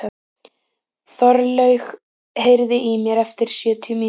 Þorlaug, heyrðu í mér eftir sjötíu mínútur.